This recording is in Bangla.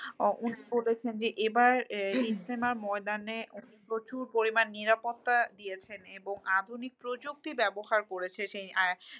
এবার ইস্তেমা ময়দানে প্রচুর পরিমান নিরাপত্তা দিয়েছেন এবং আধুনিক প্রযুক্তি ব্যবহার করেছেন সেই